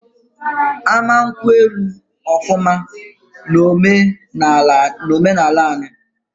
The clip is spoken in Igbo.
Ama nkwu elu ofuma na ome na ala anyii